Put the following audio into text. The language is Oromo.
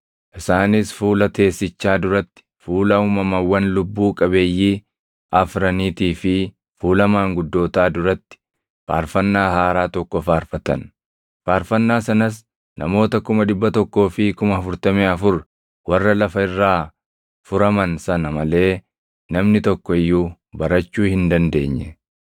Isaanis fuula teessichaa duratti, fuula uumamawwan lubbuu qabeeyyii afraniitii fi fuula maanguddootaa duratti faarfannaa haaraa tokko faarfatan. Faarfannaa sanas namoota 144,000 warra lafa irraa furaman sana malee namni tokko iyyuu barachuu hin dandeenye.